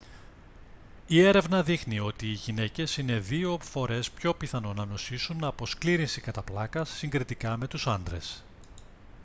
η έρευνα δείχνει ότι οι γυναίκες είναι δύο φορές πιο πιθανό να νοσήσουν από σκλήρυνση κατά πλάκας συγκριτικά με τους άντρες